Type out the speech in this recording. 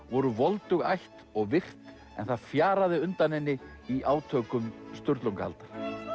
voru voldug ætt og virt en það fjaraði undan henni í átökum Sturlungaaldar